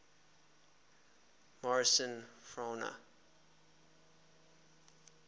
morrison fauna